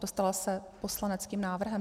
Dostala se poslaneckým návrhem.